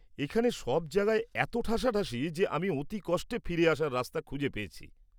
এখানে সব জায়গায় এত ঠাসাঠাসি যে আমি অতি কষ্টে ফিরে আসার রাস্তা খুঁজে পেয়েছি।